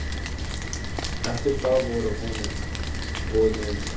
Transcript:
Eftir það voru honum boðin náðarmeðulin sem hann þáði.